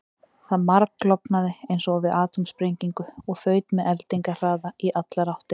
Það margklofnaði eins og við atómsprengingu og þaut með eldingarhraða í allar áttir.